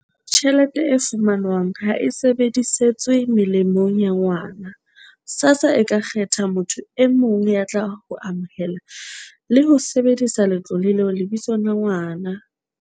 "tjhelete e fumanwang ha e sebedisetswe molemong wa ngwana, SASSA e ka kgetha motho e mong ya tlang ho amohela le ho sebedisa letlole leo lebitsong la ngwana."